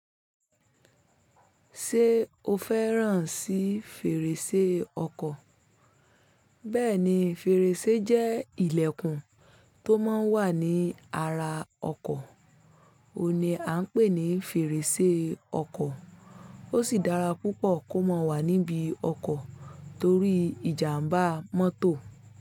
Ṣé o fẹ́ràn sí fèrèsé ọkọ̀? Bẹ́ẹ̀ni, fèrèsé jẹ́ ilẹ̀kùn tó máa ń wà ní ara ọkọ̀. Ó ni à ń pè ní fèrèsé ọkọ̀. Ó sì dára púpọ̀ kó má wà níbi ọkọ̀ torí ìjàmbá mọ́tò.